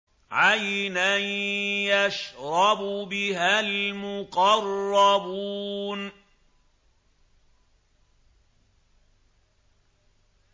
عَيْنًا يَشْرَبُ بِهَا الْمُقَرَّبُونَ